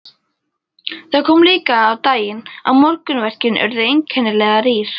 Það kom líka á daginn að morgunverkin urðu einkennilega rýr.